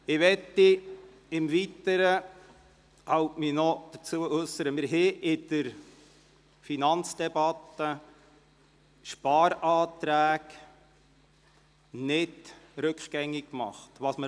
Im Weiteren möchte ich mich noch dazu äussern, dass wir in der Finanzdebatte Sparanträge nicht rückgängig gemacht haben.